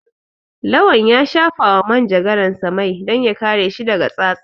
Lawan ya shafawa manjagaransa mai don ya kare shi daga tsatsa.